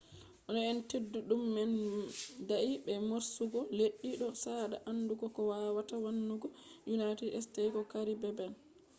no eyende teddudum man dayi be morsugo leddi do sada andugo ko wawata wannugo united states ko caribbean